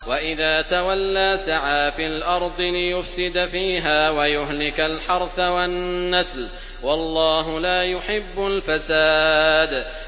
وَإِذَا تَوَلَّىٰ سَعَىٰ فِي الْأَرْضِ لِيُفْسِدَ فِيهَا وَيُهْلِكَ الْحَرْثَ وَالنَّسْلَ ۗ وَاللَّهُ لَا يُحِبُّ الْفَسَادَ